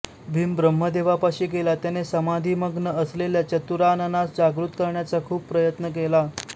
भीम ब्रम्हदेवापाशी गेला त्याने समाधीमग्न असलेल्या चतुराननास जागृत करण्याचा खूप प्रयत्न केला